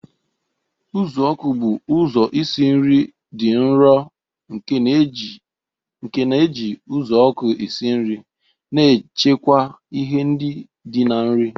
Uzuoku bụ ụzọ isi nri dị nro nke na-eji uzuoku esi nri, na-echekwa ihe ndi di na nri.